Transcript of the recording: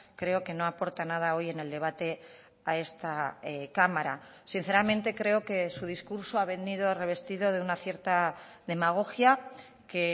creo que no aporta nada hoy en el debate a esta cámara sinceramente creo que su discurso ha venido revestido de una cierta demagogia que